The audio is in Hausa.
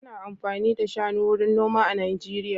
Ana amfani da shanu wurin noma a Najeriya.